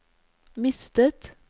mistet